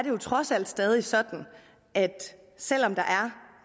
jo trods alt stadig sådan selv om der